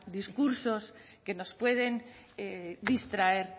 discursos que nos pueden distraer